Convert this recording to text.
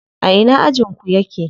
A ina ajin ku yake?